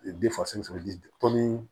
tɔnni